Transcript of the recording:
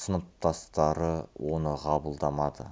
сыныптастары оны қабылдамады